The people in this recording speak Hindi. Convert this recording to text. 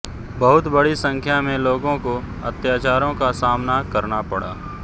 बहुत बड़ी संख्या में लोगों को अत्याचारों का सामना करना पड़ा